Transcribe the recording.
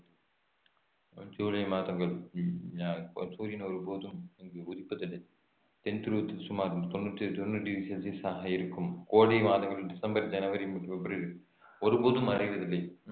ஜூலை மாதங்கள் சூரியன் ஒரு போதும் இங்கு உதிப்பதில்லை தென் துருவத்தில் சுமார் தொண்ணூத்தி ஏழுதொன்னூறு டிகிரி செல்ஸியஸாக இருக்கும் கோடை மாதங்கள் டிசம்பர் ஜனவரி மற்றும் பிப்ரவரி ஒரு போதும் மறைவதில்லை